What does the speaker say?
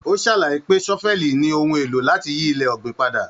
O sàlàyé pé sọ́fẹ̀lí ní ohùn èlò láti yí ilẹ̀ ọgbin padà.